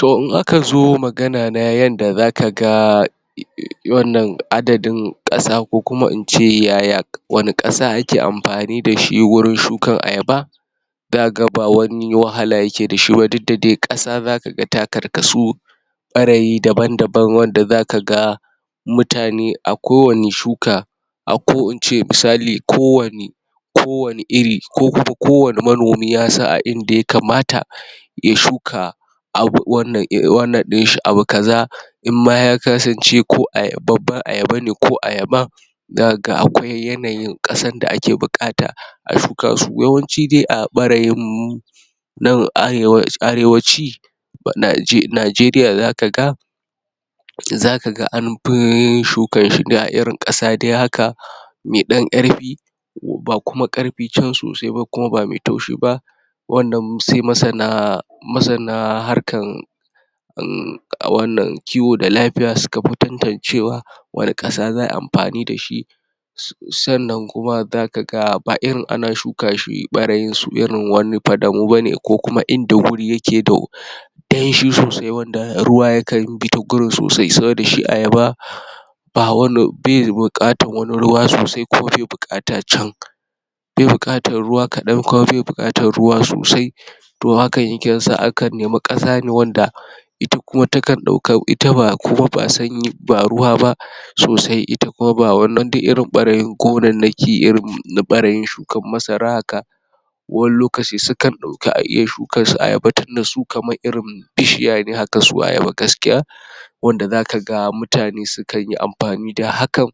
To in aka zo magana na yanda zakaga um wannan adadin ƙasa ko kuma ince yaya wani ƙasa ake amfani da shi wurin shukan ayaba zakaga ba wani wahala yake dashi ba, duk da dai zakaga ƙasa ta karkasu ɓarayi daban-daban, wanda zaka ga mutane a kowanne shuka ko ince misali kowanne kowanne iri, ko kuma kowanne manomi yasan a inda ya kamata ya shuka abu wannan um wannan ɗin shi abu kaza in ma ya kasance ko ayaba babban ayaba ne ko ayaba zakaga akwai yanayin ƙasan da ake buƙata a shuka su. yawanci dai a ɓarayin mu nan arewa, arewaci najeriya Najeriya zakaga zakaga anfi yin shukan shi ne a irin ƙasa dai haka me ɗan ƙarfi ba kuma ƙarfi can sosai ba kuma ba mai taushi ba wannan sai masana masana harkan um, wannan kiwo da lafiya suka fi tantancewa wane ƙasa za ai amfani dashi sannan kuma zaka ga ba irin ana shuka shi ɓarayin su irin wani fadamu bane ko kuma inda wuri yake da danshi sosai wanda ruwa yakan bi ta gurin sosai, saboda shi ayaba ba wani be buƙatar wani ruwa sosai kuma be buƙata can be buƙatar ruwa kaɗan kuma be buƙatar ruwa sosai to hakan yakan sa a kan nemi ƙasa ne wanda ita kuma ta kan ɗaukan ita ba kuma ba sanyi ba ruwa ba sosai ita kuma ba wannan dai irin ɓarayin gonannaki irin ɓarayin shukan masara haka wani lokaci sukan dauƙi a iya shuka su ayaba tunda su kamar irin bishiya ne haka su ayaba gaskiya wanda zakaga mutane sukan yi amfani da hakan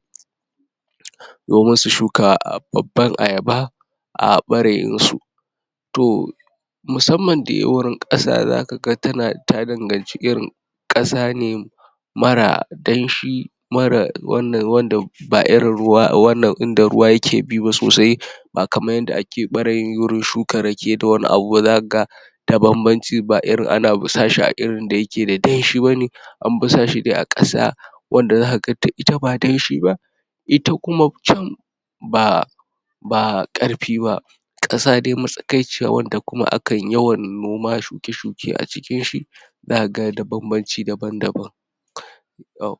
domin su shuka babban ayaba a ɓarayin su. To musamman dai wurin ƙasa zaka ga tana ta danganci irin ƙasa ne mara danshi mara wannan wanda ba irin ruwa wannan inda ruwa yake bi ba sosai ba kamar yanda ake ɓarayi wurin shukan rake da wani abu ba zaka ga da banbanci, ba irin ana busasha irin da yake da danshi bane an bi sa shi dai a ƙasa wanda zakaga ita ba danshi ba ita kuma can ba ba ƙarfi ba ƙasa dai matsakaiciya wanda kuma akan yawan noma shuke-shuke a cikin shi zakaga da banbanci daban-daban um